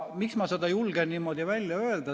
Miks ma seda julgen niimoodi välja öelda?